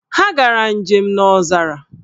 Ha gara njem n'ọzara